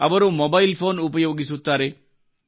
ಈಗ ಅವರು mobile phone ಉಪಯೋಗಿಸುತ್ತಾರೆ